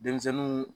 Denmisɛnninw